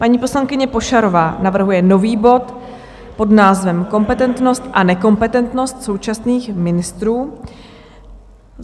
Paní poslankyně Pošarová navrhuje nový bod pod názvem Kompetentnost a nekompetentnost současných ministrů.